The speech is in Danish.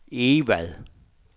Egvad